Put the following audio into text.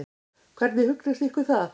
Hvernig hugnast ykkur það?